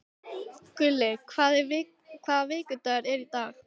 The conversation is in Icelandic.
Gulli, hvaða vikudagur er í dag?